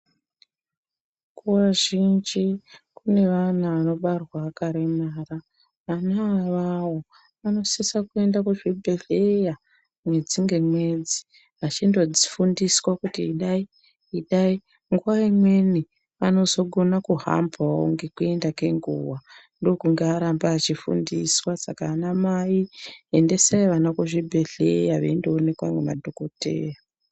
Nguwa zhinji kune ana anobarwa akaremara anhu iwawawo anosisa kuenda kuzvibhehlera mwedzi ngemwedzi vachindo fundiswa kuti idai idai nguwa imweni vanozokonawo kuhamba ngekuenda kwenguwa ndokunge aramba eifundiswa saka anamai endesai ana kuzvibhehleya veindowonekwa ngema dhokodheya